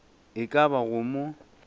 e ka ba go mo